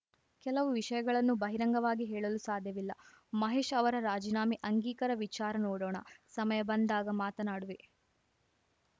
ಕೆಲವು ವಿಷಯಗಳನ್ನು ಬಹಿರಂಗವಾಗಿ ಹೇಳಲು ಸಾಧ್ಯವಿಲ್ಲ ಮಹೇಶ್‌ ಅವರ ರಾಜೀನಾಮೆ ಅಂಗೀಕಾರ ವಿಚಾರ ನೋಡೋಣ ಸಮಯ ಬಂದಾಗ ಮಾತನಾಡುವೆ